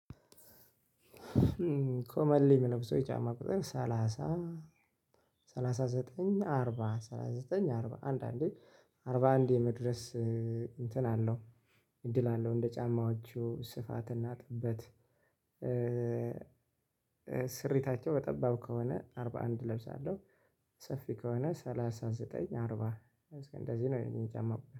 ኮመንሊ የሚለብሰው ጫማ ቁጥር ሰላሳ ሰላሳ ዘጠኝ አርባ ሰላሳ ዘጠኝ አርባ አንድ አንዴ አርባ አንድ የመድረስ እንትን አለው እድል አለው እንደ ጫማዎቹ ስፋትና ጥበት። ስሪታቸው በጠባብ ከሆነ አርባ አንድ እለብሳለሁ ሰፊ ከሆነ ሰላሳ ዘጠኝ አርባ። እንደዚህ ነው የኔ ጫማ ቁጥር